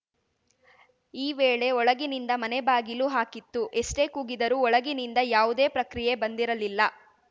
ಈ ವೇಳೆ ಒಳಗಿನಿಂದ ಮನೆ ಬಾಗಿಲು ಹಾಕಿತ್ತು ಎಷ್ಟೇಕೂಗಿದರೂ ಒಳಗಿನಿಂದ ಯಾವುದೇ ಪ್ರಕ್ರಿಯೆ ಬಂದಿರಲಿಲ್ಲ